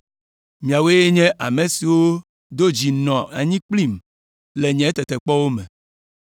Miawoe nye ame siwo do dzi nɔ anyi kplim le nye tetekpɔwo me,